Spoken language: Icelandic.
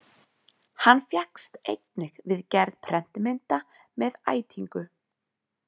Hann fékkst einnig við gerð prentmynda með ætingu.